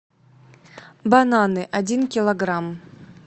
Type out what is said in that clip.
бананы один килограмм